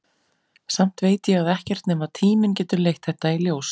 Samt veit ég að ekkert nema tíminn getur leitt þetta í ljós.